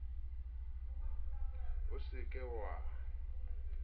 o se ke wa hadika